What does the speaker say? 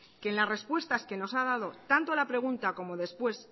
que en las respuestas que nos ha dado tanto a la pregunta como después